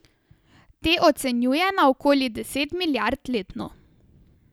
Te ocenjuje na okoli deset milijard letno.